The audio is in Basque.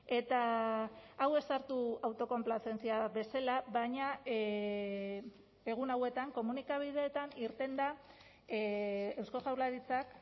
eta hau ez sartu autokonplazentzia bezala baina egun hauetan komunikabideetan irten da eusko jaurlaritzak